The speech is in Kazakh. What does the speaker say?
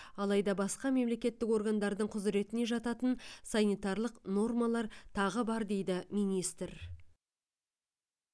алайда басқа мемлекеттік органдардың құзыретіне жататын санитарлық нормалар тағы бар дейді министр